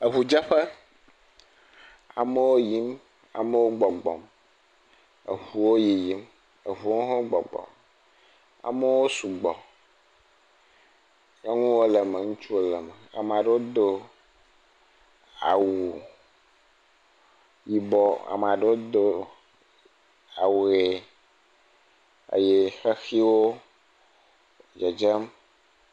Eŋudzeƒe. Amewo yiyim. Amewo gbɔgbɔm. Eŋuwo yiyim. Eŋuwo hã wo gbɔgbɔm. Amewo sugbɔ. Nyɔnuwo le me. Ŋutsuwo wo le me. Ama ɖewo do awu yibɔ. Ama ɖewo do awu ʋe eye xexiwo dzedzem.